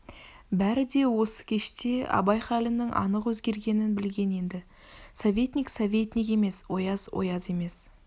бәрі де осы кеште абай халінің анық өзгергенін білген енді советник советник емес ояз ояз емес